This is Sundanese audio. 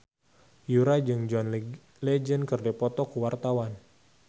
Yura jeung John Legend keur dipoto ku wartawan